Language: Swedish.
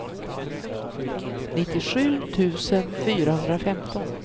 nittiosju tusen fyrahundrafemton